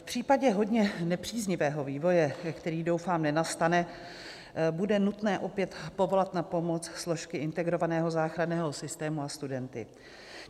V případě hodně nepříznivého vývoje, který, doufám, nenastane, bude nutné opět povolat na pomoc složky integrovaného záchranného systému a studenty.